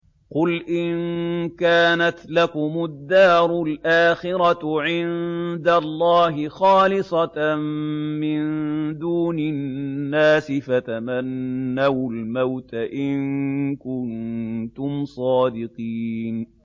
قُلْ إِن كَانَتْ لَكُمُ الدَّارُ الْآخِرَةُ عِندَ اللَّهِ خَالِصَةً مِّن دُونِ النَّاسِ فَتَمَنَّوُا الْمَوْتَ إِن كُنتُمْ صَادِقِينَ